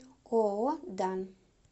ооо дан